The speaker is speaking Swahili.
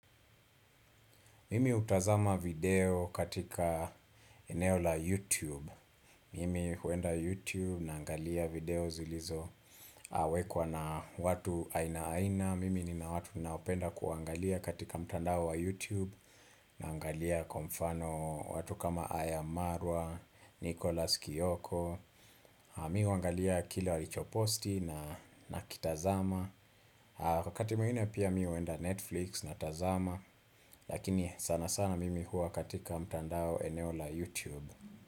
Mimi hutazama video katika eneo la YouTube Mimi huenda YouTube naangalia video zilizo wekwa na watu aina aina Mimi nina watu ninaopenda kuangalia katika mtandao wa YouTube naangalia kwa mfano watu kama Aya Marwa, Nicholas Kioko Mimi huangalia kile walicho posti na kitazama wakati mwingine pia mimi huenda Netflix natazama Lakini sana sana mimi huwa katika mtandao eneo la YouTube.